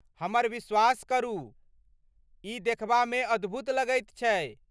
हमर विश्वास करू, ई देखबामे अद्भुत लगैत छै।